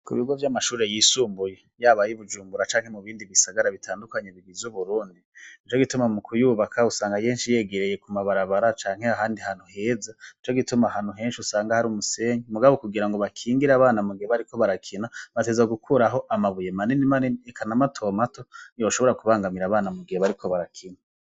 Ku bigo vy'amashure yisumbuye yabayi bujumbura canke mu bindi bisagara bitandukanyi bigiza uburundi ni co gituma mu kuyubaka usanga yenshi yegereye ku mabarabara canke ahandi hantu heza ni co gituma hantu henshi usanga hari umusenyi umugabo kugira ngo bakingire abana mugeba, ariko barakina bateza gukuraho amabuye manine mani ekana matomato yoshobora kubangamira abana mu giye bariko barakina.